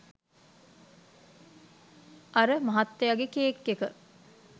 අර ' මහත්තයාගේ කේක් එක'